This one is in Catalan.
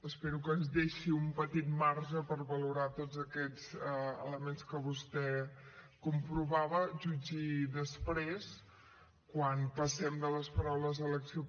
espero que ens deixi un petit marge per valorar tots aquests elements que vostè comprovava jutgi després quan passem de les paraules a l’acció